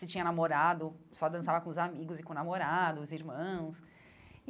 Se tinha namorado, só dançava com os amigos e com o namorado, os irmãos.